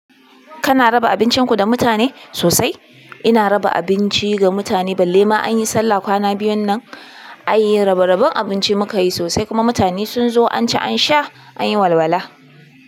Kana raba abincin ku da mutane? Sosai ina raba abinci ga mutane balle ma an yi sallah kwana biyun nan, ayi rabe rabin abinci muka yi sosai kuma mutane sun zo an ci an sha an yi walwala.